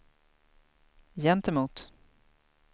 gentemot